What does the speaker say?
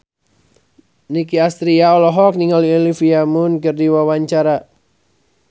Nicky Astria olohok ningali Olivia Munn keur diwawancara